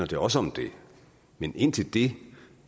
det også om det men indtil det